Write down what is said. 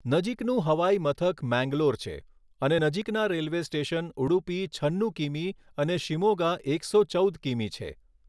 નજીકનું હવાઈમથક મેંગલોર છે અને નજીકના રેલવે સ્ટેશન ઉડુપી છન્નુ કિમી અને શિમોગા એકસો ચૌદ કિમી છે.